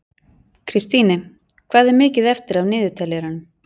Kristine, hvað er mikið eftir af niðurteljaranum?